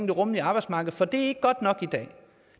det rummelige arbejdsmarked for det er ikke godt nok i dag